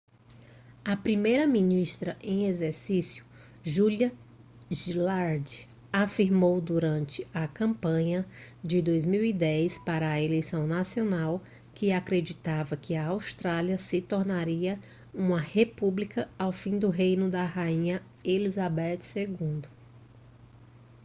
a primeira-ministra em exercício julia gillard afirmou durante a campanha de 2010 para a eleição nacional que acreditava que a austrália se tornaria uma república ao fim do reino da rainha elizabeth ii